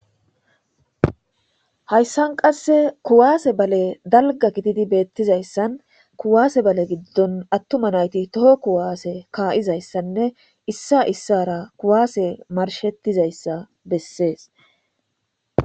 Hayssan qasse kuwaase bale dalga gididi beettizayssan kuwaase bale giddon attuma nayti toho kuwaase kaa7izayssanne issa issara kuwaase marshettizayssa bessees.